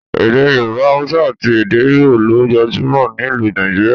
Èdè Yorùbá, Haúsá àti èdè ígbò ló gbajúmọ̀ nílùú Nigeria